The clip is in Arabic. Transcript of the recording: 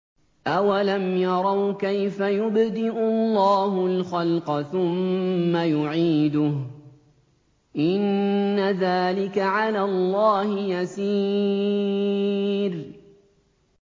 أَوَلَمْ يَرَوْا كَيْفَ يُبْدِئُ اللَّهُ الْخَلْقَ ثُمَّ يُعِيدُهُ ۚ إِنَّ ذَٰلِكَ عَلَى اللَّهِ يَسِيرٌ